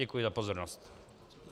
Děkuji za pozornost.